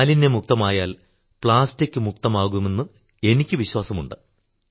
മാലിന്യമുക്തമായാൽ plastic മുക്തവുമാകുമെന്ന് എനിക്കു വിശ്വാസമുണ്ട്